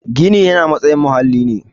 Gini yana matsayin muhalli ne